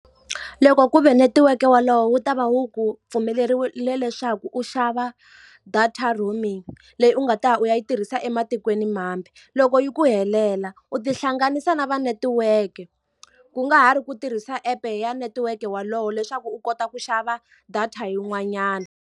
Loko ku ve netiweke wolowo wu ta va wu ku pfumelerile leswaku u xava data roaming, leyi u nga ta ya u ya yi tirhisa ematikweni mambe. Loko yi ku helela, u tihlanganisa na va netiweke. Ku nga ha ri ku tirhisa app-e ya netiweke wolowo leswaku u kota ku xava data yin'wanyana.